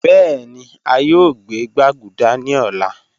Bẹẹni a yoo gbẹ gbaguda ni ọla